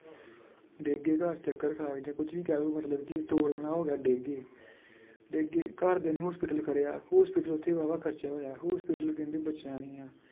ਡਿੱਗ ਚੱਕਰ ਖਾ ਕੇ ਜਾਂ ਕੁੱਝ ਵੀ ਕਹਿ ਲਓ ਮਤਲਬ ਕਿ ਡਿੱਗ ਗਏ ਡਿੱਗ ਗਏ ਘਰਦਿਆਂ ਨੇ hospital ਕਰਿਆ hospital ਉੱਥੇ ਬਾਵਾ ਖਰਚਾ ਹੋਇਆ hospital ਕਹਿੰਦੇ ਬਚਣਾ ਨੀ ਹੈ।